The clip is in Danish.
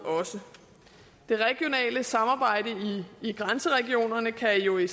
det regionale samarbejde i grænseregionerne kan jo i